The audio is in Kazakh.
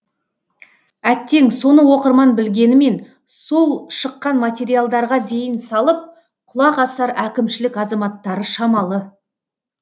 әттең соны оқырман білгенімен сол шыққан материалдарға зейін салып құлақ асар әкімшілік азаматтары шамалы